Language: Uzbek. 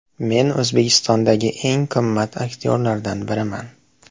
Men O‘zbekistondagi eng qimmat aktyorlardan biriman”.